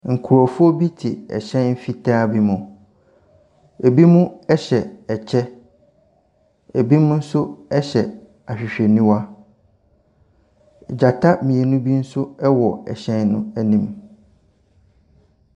Nkorɔfoɔ bi te ɛhyɛn fitaa bi mu, ebi mo ɛhyɛ ɛkyɛ. Ebi mo nso hyɛ ahwehwɛniwa. Gyata mmienu bi nso wɔ ɛhyɛn n'anim.